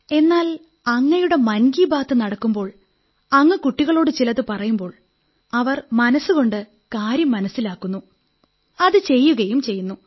എന്നാൽ അങ്ങയുടെ മൻ കീ ബാത് നടക്കുമ്പോൾ അങ്ങ് കുട്ടികളോടു ചിലതു പറയുമ്പോൾ അവർ മനസ്സുകൊണ്ട് കാര്യം മനസ്സിലാക്കുന്നു അത് ചെയ്യുകയും ചെയ്യുന്നു